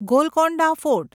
Golconda fort